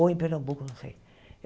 Ou em Pernambuco, não sei.